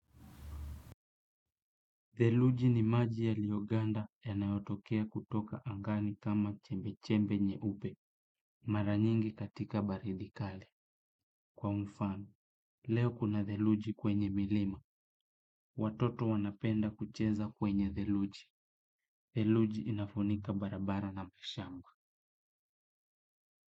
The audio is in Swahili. Dheluji ni maji yalioganda yanayotokea kutoka angani kama chembe-chembe nye upe, mara nyingi katika baridi kali. Kwa mfano leo kuna theluji kwenye milima watoto wanapenda kucheza kwenye theluji theluji inafunika barabara na mashamba.